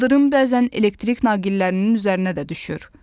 İldırım bəzən elektrik naqillərinin üzərinə də düşür.